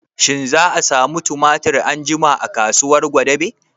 Shin za a samu tumatir anjima a kasuwar gwadabe?